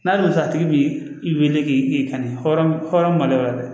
N'a wusu a tigi bi weele k'i ka hɔrɔn